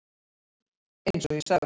Eins og ég sagði.